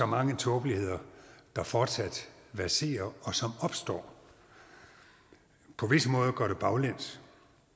mange tåbeligheder der fortsat verserer og som opstår på visse måder går det baglæns